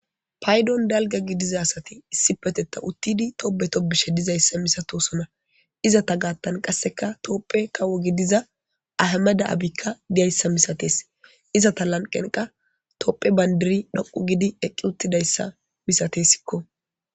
paydon dalga gidiza asati issi petetta uttidi toobe topbishe dizayssa misatosona iza ta gaattan qasseka toopphe kawo gidiza ahamada7abikka diyayssa misatees iza ta lanqen qa topphe bandiri dhoqu gidi eqqi uttidayssa misatesikko